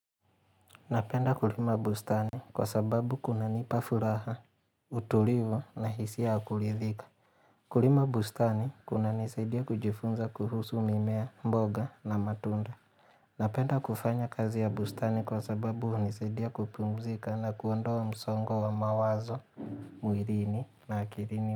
Napenda kulima bustani kwa sababu kunanipa furaha, utulivu na hisia ya kuridhika Kulima bustani kuna nisaidia kujifunza kuhusu mimea, mboga na matunda Napenda kufanya kazi ya bustani kwa sababu hunisaidia kupumzika na kuondoa msongo wa mawazo, mwilini na akilini mboga.